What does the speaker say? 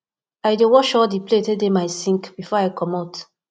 i dey wash all di plate wey dey my sink before i comot